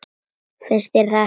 Finnst þér ég ekki falleg?